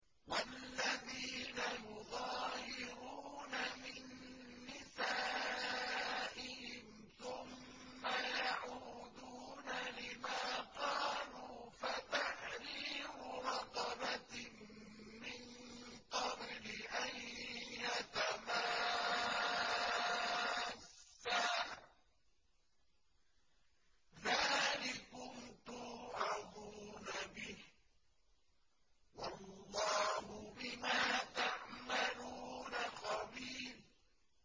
وَالَّذِينَ يُظَاهِرُونَ مِن نِّسَائِهِمْ ثُمَّ يَعُودُونَ لِمَا قَالُوا فَتَحْرِيرُ رَقَبَةٍ مِّن قَبْلِ أَن يَتَمَاسَّا ۚ ذَٰلِكُمْ تُوعَظُونَ بِهِ ۚ وَاللَّهُ بِمَا تَعْمَلُونَ خَبِيرٌ